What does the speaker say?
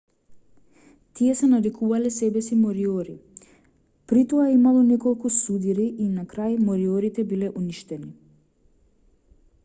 тие се нарекувале себеси мориори притоа имало неколку судири и на крај мориорите биле уништени